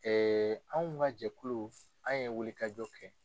Ɛɛ anw ka jɛkulu anw ye wuli kajɔ kɛ.